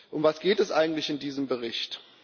Um was geht es eigentlich in diesem Bericht?